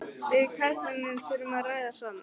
Við karlmennirnir þurfum að ræða saman.